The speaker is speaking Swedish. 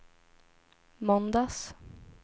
måndags